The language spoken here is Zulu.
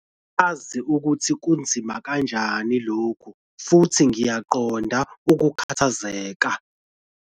Ngiyazi ukuthi kunzima kanjani lokhu futhi ngiyakuqonda ukukhathazeka.